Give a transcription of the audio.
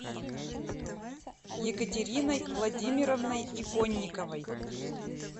екатериной владимировной иконниковой